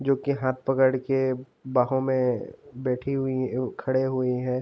जोकि हाथ पकड़ के बाहों में बैठी हुई खड़ी हुई है।